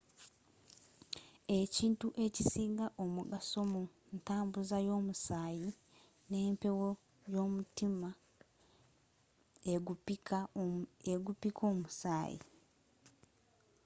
ekitundu ekisinga omugaso mu ntambuza y'omusaayi n'empewo gw'omutima ogupikka omusaayi